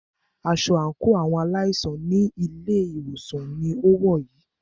Aṣọ àńkò àwọn aláìsàn ní ilé ìwòsàn ní o wọ̀ yìí.